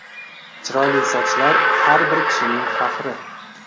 Chiroyli sochlar har bir kishining faxri!